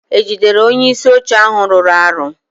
e jidere onyeisi oche ahụ rụrụ arụ?